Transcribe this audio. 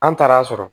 An taara'a sɔrɔ